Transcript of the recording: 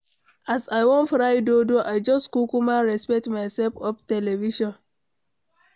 As I wan fry dodo I just kukuma respect myself off television.